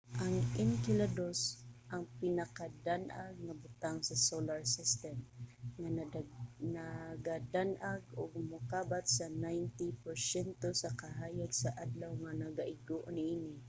ang enceladus ang pinakadan-ag nga butang sa solar system nga nagadan-ag og mokabat sa 90 porsyento sa kahayag sa adlaw nga nagaigo niini